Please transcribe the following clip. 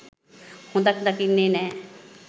හොඳක් දකින්නේ නෑ.